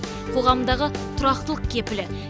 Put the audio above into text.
қоғамдағы тұрақтылық кепілі